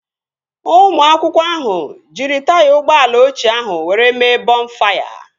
Ụmụ akwụkwọ ahụ jiri taya ụgbọala ochie ahụ were mee bọnfaya